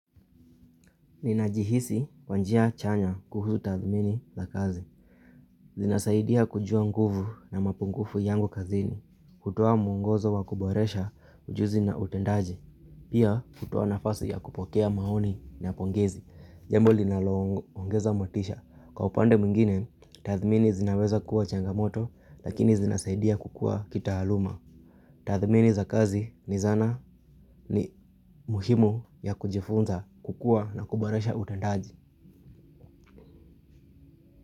Ninajihisi kwa njia chanya kuhuzu tathmini za kazi. Zinasaidia kujua nguvu na mapungufu yangu kazini. Hutowa muongozo wa kuboresha ujuzi na utendaji. Pia hutowa nafasi ya kupokea maoni na pongezi. Jambo linaloongeza motisha. Kwa upande mwingine, tathmini zinaweza kuwa changamoto lakini zinasaidia kukua kitaaluma. Tathmini za kazi ni zana ni muhimu ya kujifunza kukua na kuboresha utendaji.